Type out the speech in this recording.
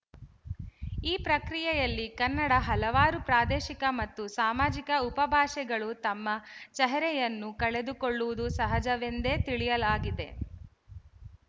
ಈ ಪ್ರಕ್ರಿಯೆಯಲ್ಲಿ ಕನ್ನಡ ಹಲವಾರು ಪ್ರಾದೇಶಿಕ ಮತ್ತು ಸಾಮಾಜಿಕ ಉಪಭಾಷೆಗಳು ತಮ್ಮ ಚಹರೆಯನ್ನು ಕಳೆದುಕೊಳ್ಳುವುದು ಸಹಜವೆಂದೇ ತಿಳಿಯಲಾಗಿದೆ